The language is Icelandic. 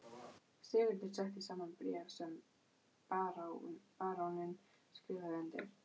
Sigurður setti saman bréf sem baróninn skrifaði undir.